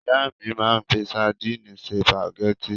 Ìyá mi máa ń fi sadíìnì se sùpàgẹ́tì.